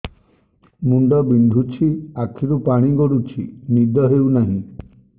ମୁଣ୍ଡ ବିନ୍ଧୁଛି ଆଖିରୁ ପାଣି ଗଡୁଛି ନିଦ ହେଉନାହିଁ